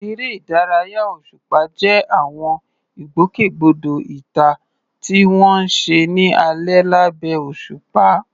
Eré ìdárayá òṣùpá jẹ́ àwọn ìgbòkègbodò ìta tí wọ́n ń ṣe ní alẹ́ lábẹ́ òṣùpá.